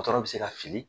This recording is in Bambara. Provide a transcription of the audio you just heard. Dɔgɔtɔrɔw bɛ se ka fili